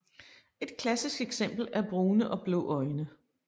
Et klassisk eksempel er brune og blå øjne